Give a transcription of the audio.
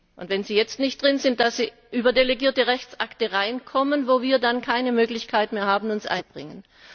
Und wenn sie jetzt nicht drin sind, kann es sein, dass sie über delegierte Rechtsakte reinkommen, wo wir dann keine Möglichkeit mehr haben, uns einzubringen.